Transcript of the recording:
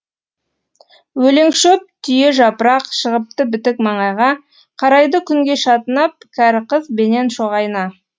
өлеңшөп түйежапырақ шығыпты бітік маңайға қарайды күнге шатынап кәріқыз бенен шоғайна